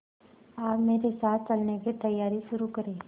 आप मेरे साथ चलने की तैयारी शुरू करें